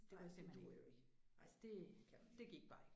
Ej det duer jo ikke. Nej det kan man ikke